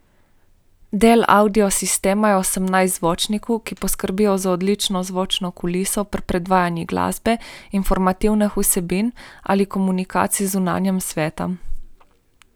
Del avdiosistema je osemnajst zvočnikov, ki poskrbijo za odlično zvočno kuliso pri predvajanju glasbe, informativnih vsebin ali komunikaciji z zunanjim svetom.